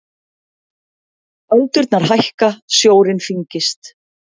Öldurnar hækka, sjórinn þyngist.